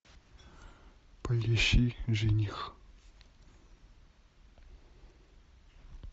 поищи жених